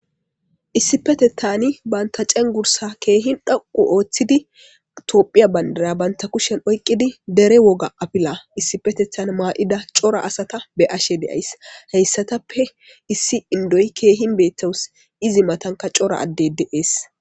Issi petethani banta cen gursa keehin dhoqu ooththidi tophiya bandara banta kushen oyqqidi dere woga apila issi petethan maa7ida cora asata be ashe deays heyssatappe issi indoy keehin beettowus izi matanka cora adde de7ees.